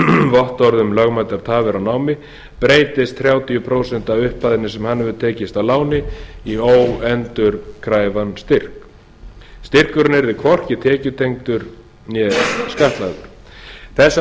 vottorði um lögmætar tafir á námi breytist þrjátíu prósent af upphæðinni sem hann hefur tekið að láni í óendurkræfan styrk styrkurinn yrði hvorki tekjutengdur né skattlagður þessar